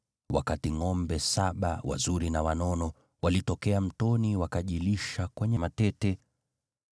wakati ngʼombe saba, wazuri na wanono, walitokea mtoni wakajilisha kwenye matete.